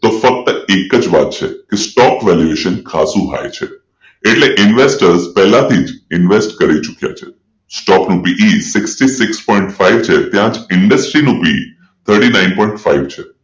તો ફક્ત એક જ વાત છે કે સ્ટોક valuation high છે એટલે ઈન્વેસ્ટર પહેલાથી જ ઈન્વેસ્ટ કરી ચૂક્યા છે સ્ટોક નું sixty six point five industry thirty nine point five છે